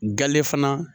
Gale fana